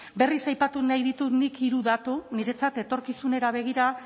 berriz aipatu nahi ditut nik hiru datu niretzat etorkizunera begira